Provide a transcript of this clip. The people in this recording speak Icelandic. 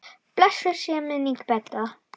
Blessuð sé minning Bedda.